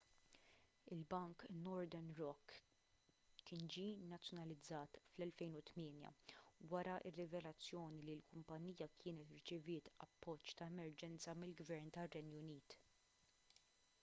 il-bank northern rock kien ġie nazzjonalizzat fl-2008 wara r-rivelazzjoni li l-kumpanija kienet irċeviet appoġġ ta' emerġenza mill-gvern tar-renju unit